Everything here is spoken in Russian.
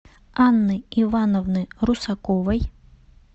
анны ивановны русаковой